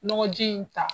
Nɔgɔji in ta